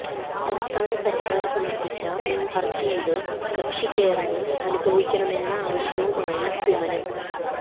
സംസ്ഥാന സര്ക്കാര് സമര്പ്പിച്ച ഹര്ജിയില് കക്ഷി ചേരാന് അനുവദിക്കണമെന്ന ആവശ്യവുമായി കുമ്മനം